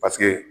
Paseke